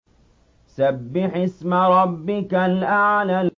سَبِّحِ اسْمَ رَبِّكَ الْأَعْلَى